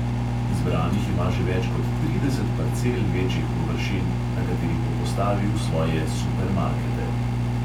Izbranih ima že več kot trideset parcel večjih površin, na katerih bo postavil svoje supermarkete.